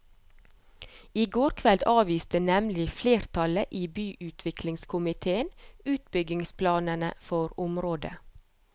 I går kveld avviste nemlig flertallet i byutviklingskomitéen utbyggingsplanene for området.